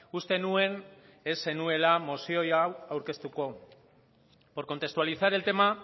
uste nuen ez zenuela mozio hau aurkeztuko por contextualizar el tema